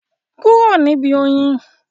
Kúrò níbi oyin?